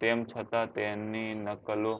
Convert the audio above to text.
તેમ છતાં તેમની નકલો